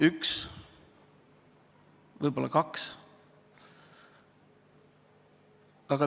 Üks, võib-olla kaks.